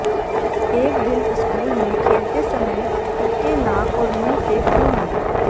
एक दिन स्कूल में खेलते समय उसके नाक और मुंह से खून आया